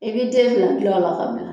I